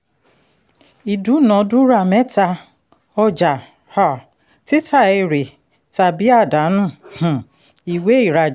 ìdúnàndúrà mẹta: ọjà um títa èrè tàbí àdánù um ìwé ì